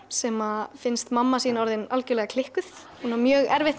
sem finnst mamma sín orðin algerlega klikkuð hún á mjög erfitt